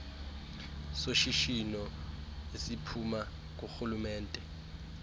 soshishino esiphuma kurhulumente